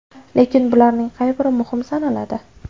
Lekin bularning qay biri muhim sanaladi?